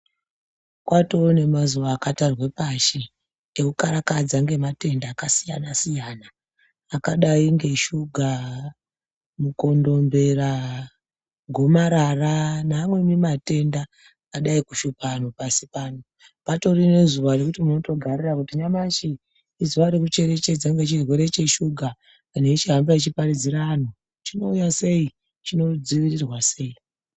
Kwatove nemazuva akatarwe pashi ekukarakadza ngematenda akasiyana-siyana, akadai ngeshuga, mukondombera, gomarara neamweni matenda adai kushupa anhu pasi pano. Patori nezuva rekuti munotogarira kuti nyamashi izuva rekucherechedza nechirwere cheshuga. Anhu echihamba echiparidzira anhu, chinouya sei, chinodzivirirwa sei.